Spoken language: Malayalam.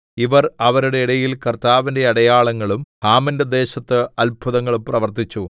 ഇവർ അവരുടെ ഇടയിൽ കർത്താവിന്റെ അടയാളങ്ങളും ഹാമിന്റെ ദേശത്ത് അത്ഭുതങ്ങളും പ്രവർത്തിച്ചു